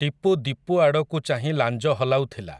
ଟିପୁ ଦୀପୁ ଆଡ଼କୁ ଚାହିଁ ଲାଞ୍ଜ ହଲାଉଥିଲା ।